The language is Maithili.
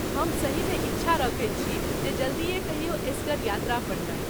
हम सहीमे इच्छा रखैत छी जे जल्दीए कहियो एसगर यात्रा पर जाइ।